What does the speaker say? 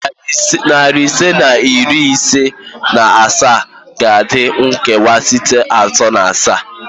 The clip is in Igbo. Nari ise na iri isii na asaa ga-adị nkewa site atọ na asaa